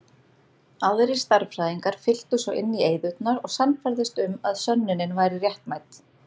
Aðrir stærðfræðingar fylltu svo inn í eyðurnar og sannfærðust um að sönnunin væri réttmæt.